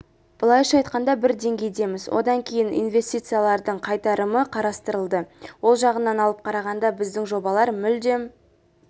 былайша айтқанда бір деңгейдеміз одан кейін инвестициялардың қайтарымы қарастырылды ол жағынан алып қарағанда біздің жобалар мүлдем